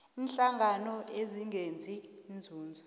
iinhlangano ezingenzi inzuzo